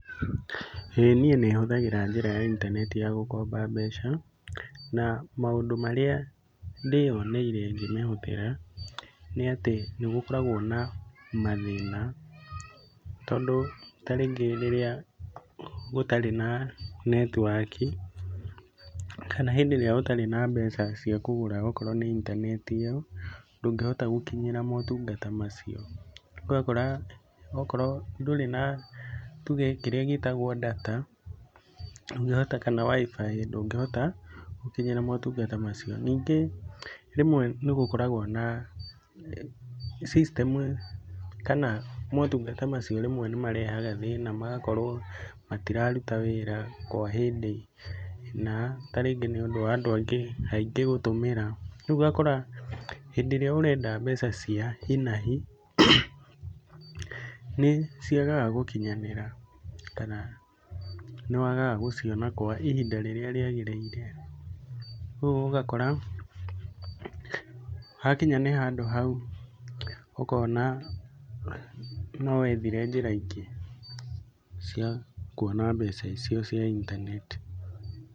ĩĩ niĩ nĩ hũthagĩra njĩra ya intaneti ya gũkomba mbeca na maũndũ marĩa ndĩyoneire ngĩmĩhũthĩra nĩ atĩ nĩ gũkoragwo na mathĩna, tondũ tarĩngĩ rĩrĩa gũtarĩ na netiwaki, kana hĩndĩ ĩrĩa gũtarĩ na mbeca ciakũgũra okorwo nĩ intaneti ĩyo ndũngĩhota gũkinyĩra maũtungata macio. Ũgakora okorwo ndũrĩ na krĩĩa gĩtagwo ndata ndũngĩhota kana WIFI ndũngĩhota gũkinyĩra motungata macio. Ningĩ rĩmwe nĩ gũkoragwo na system kana motungata macio rĩmwe nĩ marehaga thĩna magakorwo matiraruta wĩra kwa hĩndĩ ĩna tarĩngĩ nĩ ũndũ wa andũ angĩ aingĩ gũtũmĩra. Rĩu ũgakora hĩndĩ ĩrĩa ũrenda mbeca cia hi na hi nĩ ciagag gũkinyanĩra kana nĩ wagaga gũciona kwa ihinda rĩrĩa rĩagĩrĩire. Ũguo ũgakora hakinya nĩ handũ hau ũkona no wethire njĩra ingĩ cia kuona mbeca icio cia intaneti.